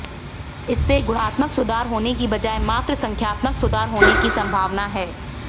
इससे गुणात्मक सुधार होने की बजाए मात्र संख्यात्मक सुधार होने की संभावना है